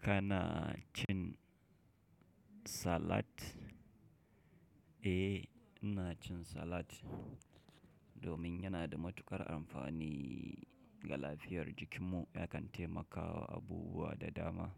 Kana cin salat? Eh, ina cin salat domin yana da matuƙar amfani ga lafiyar jikinmu. Yakan taimakawa abubuwa da dama.